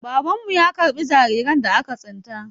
Babanmu ya karɓi jariran da aka tsinta.